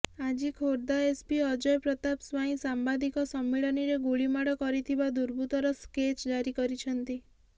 ଆଜି ଖୋର୍ଦ୍ଧା ଏସପି ଅଜୟ ପ୍ରତାପ ସ୍ୱାଇଁ ସାମ୍ବାଦିକ ସମ୍ମିଳନୀରେ ଗୁଳିମାଡ଼ କରିଥିବା ଦୁର୍ବୁତ୍ତର ସ୍କେଚ ଜାରି କରିଛନ୍ତି